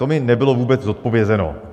To mi nebylo vůbec zodpovězeno.